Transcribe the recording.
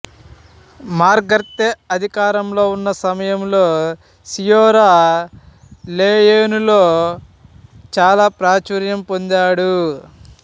Margai అధికారంలో ఉన్న సమయంలో సియెరా లెయెనెలో చాలా ప్రాచుర్యం పొందాడు